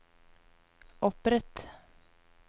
opprett